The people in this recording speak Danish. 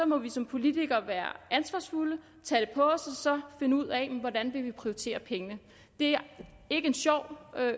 må vi som politikere være ansvarsfulde tage og så finde ud af hvordan vi vil prioritere pengene det er ikke en sjov